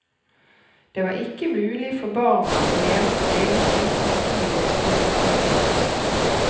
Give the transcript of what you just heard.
Det var ikke mulig for barna å leve sitt eget liv uten de voksnes innflytelse.